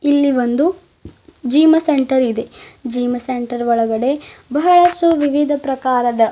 ಇಲ್ಲಿ ಒಂದು gym centre ಇದೆ ಜೀಮ ಸೆಂಟರ್ ಒಳಗಡೆ ಬಹಳಷ್ಟು ವಿವಿಧ ಪ್ರಕಾರದ --